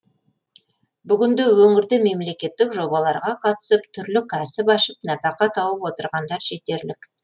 бүгінде өңірде мемлекеттік жобаларға қатысып түрлі кәсіп ашып нәпақа тауып отырғандар жетерлік